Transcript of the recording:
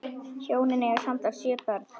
Hjónin eiga samtals sjö börn.